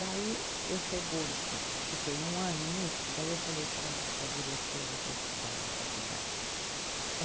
Daí eu chego, fiquei um ano nisso, daí eu falei para, para a diretora da es, da faculdade.